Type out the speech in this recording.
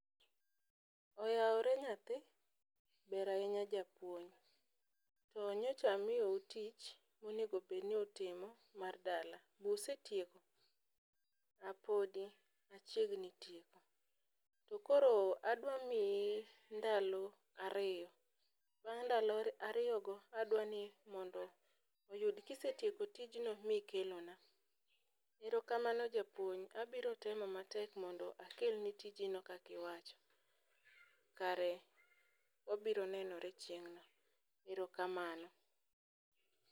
Oyawre nyathi ber ahinya japuonj, to nyicha miyou tich monego bed ni utimo mar dala busetieko? A podi wachiegni tieko . To koro adwa miyi ndalo ariyo bang' ndalo ariyo go adwa ni mondo oyud kisetieko tijno mikelona. Erokamano japuonj abiro temo matek mondo akel ni tijino kak iwacho. Kare wabiro nenore chieng'no, erokamano